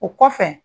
O kɔfɛ